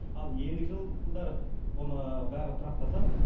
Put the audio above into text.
ал ендігі жылдары оны бәрі тұрақтасады